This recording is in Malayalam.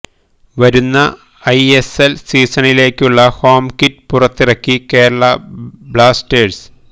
വരുന്ന ഐഎസ്എൽ സീസണിലേക്കുള്ള ഹോം കിറ്റ് പുറത്തിറക്കി കേരള ബ്ലാസ്റ്റേഴ്സ്